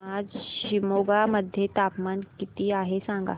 आज शिमोगा मध्ये तापमान किती आहे सांगा